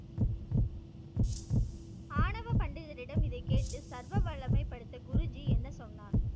ஆணவ பண்டிதரிடம் இதைக்கேட்டு சர்வ வல்லமைபடைத்த குருஜி என்ன சொன்னார்?